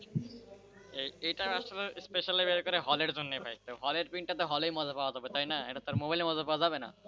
এটা আসলে specially বের করে হলের জন্যই ভাই কেউ হলের print হলে মজা পাওয়া যাবে তাই না? এটা আর মোবাইলে মজা পাওয়া যাবে না,